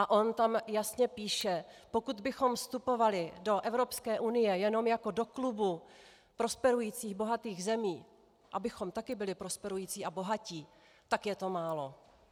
A on tam jasně píše: "Pokud bychom vstupovali do Evropské unie jenom jako do klubu prosperujících bohatých zemí, abychom taky byli prosperující a bohatí, tak je to málo.